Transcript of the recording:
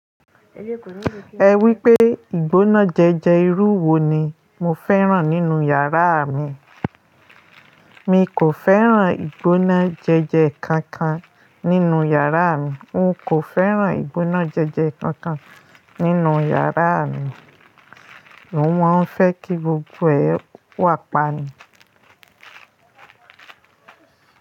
Ẹ wípé ìgbóná jẹje irú wo ni mo fẹ́ràn nínú yàrá mi. Mi kò fẹ́ràn ìgbóná jẹjẹ kankan nínú yàrá mi. Un kò fẹ́ràn ìgbóná jẹjẹ kankan nínú yàrá mi. Mo máa ń fẹ́ kí gbogbo ẹ̀ wàpa ni.